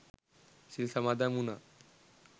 සිල් සමාදන් වුනා.